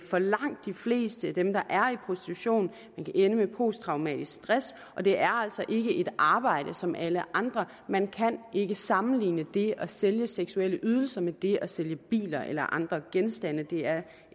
for langt de fleste af dem der er i prostitution man kan ende med posttraumatisk stress og det er altså ikke et arbejde som alle andre man kan ikke sammenligne det at sælge seksuelle ydelser med det at sælge biler eller andre genstande det er